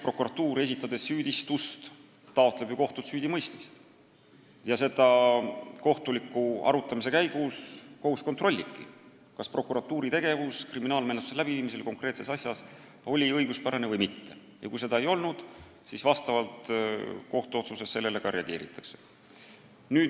Prokuratuur, esitades süüdistust, taotleb ju kohtult süüdimõistmist ja seda kohus kohtuliku arutamise käigus kontrollibki, kas prokuratuuri tegevus kriminaalmenetluse läbiviimisel on konkreetses asjas olnud õiguspärane või mitte, ja kui pole olnud, siis vastavalt kohtuotsusele sellele ka reageeritakse.